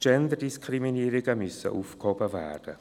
Genderdiskriminierungen müssen aufgehoben werden.